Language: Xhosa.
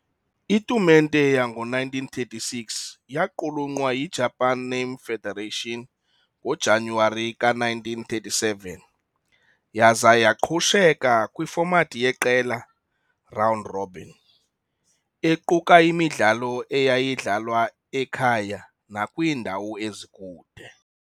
Itumente yango-1936 yaqulunwqa yi-Japan Name Federation ngoJanuwari ka1937 yaze yaqhusheka kwi-format yeqela round robin equka imidlalo eyayidlalwa ekhaya nakwiindawo ezikude.